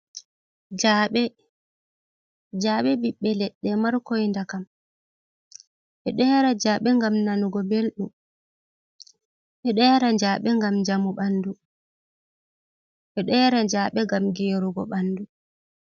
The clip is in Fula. Jaaɓe: Jaaɓe ɓiɓɓe leɗɗe markoi ndakam. Ɓeɗo yara jaaɓe ngam nanugo belɗum, ɓeɗo yara jaaɓe ngam njamu ɓandu, ɓeɗo yara jaaɓe ngam gerugo ɓandu.